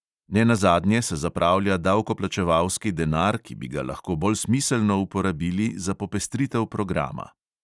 Nenazadnje se zapravlja davkoplačevalski denar, ki bi ga lahko bolj smiselno uporabili za popestritev programa.